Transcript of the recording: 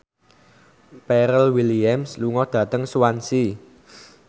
Pharrell Williams lunga dhateng Swansea